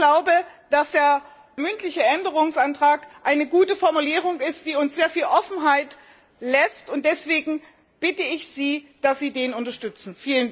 Ich glaube, dass der mündliche Änderungsantrag eine gute Formulierung ist, die uns sehr viel Offenheit lässt, und deshalb bitte ich Sie, dass Sie den unterstützen.